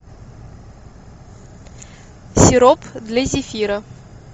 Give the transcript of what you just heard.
сироп для зефира